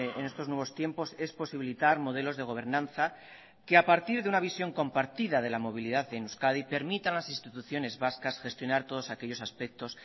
en estos nuevos tiempos es posibilitar modelos de gobernanza que a partir de una visión compartida de la movilidad en euskadi permita a las instituciones vascas gestionar todos aquellos aspectos